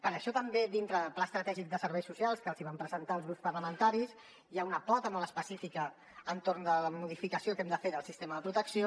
per això també dintre del pla estratègic de serveis socials que els vam presentar als grups parlamentaris hi ha una pota molt específica a l’entorn de la modificació que hem de fer del sistema de protecció